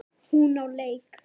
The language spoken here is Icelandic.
Hún á leik.